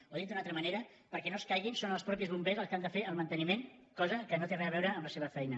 o dit d’una altra manera perquè no caiguin són els mateixos bombers els que n’han de fer el manteniment cosa que no té re a veure amb la seva feina